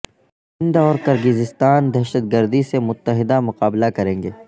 ہند اور کرغیزستان دہشت گردی سے متحدہ مقابلہ کریں گے